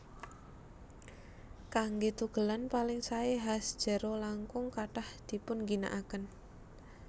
Kanggé tugelan paling saé has jero langkung kathah dipunginakaken